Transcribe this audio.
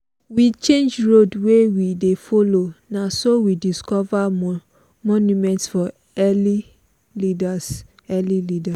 we change road wey we dey follow na so we discover monument for early leaders. early leaders.